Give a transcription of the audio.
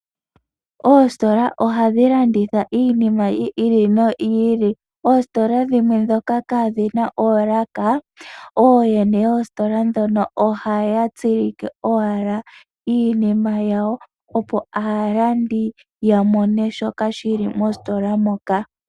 Oositola ohadhi landitha iinima yi ili noyi ili. Oositola dhimwe ndhoka kaadhi na oolaka, ooyene yoositola ndhino ohaya tsilike owala iinima yawo, opo aalandi ya mone shoka shi li mositola moka.